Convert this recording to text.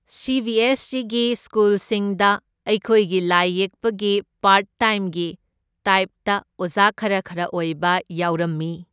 ꯁꯤ B S ꯁꯤꯒꯤ ꯁ꯭ꯀꯨꯜꯁꯤꯡꯗ ꯑꯩꯈꯣꯏꯒꯤ ꯂꯥꯏ ꯌꯦꯛꯄꯒꯤ ꯄꯥꯔꯠ ꯇꯥꯏꯝꯒꯤ ꯇꯥꯏꯞꯇ ꯑꯣꯖꯥ ꯈꯔ ꯈꯔ ꯑꯣꯏꯕ ꯌꯥꯎꯔꯝꯃꯤ꯫